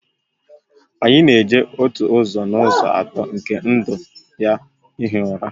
Anyi na-eji otu ụzọ n'ụzọ atọ nke ndụ ya hie ụra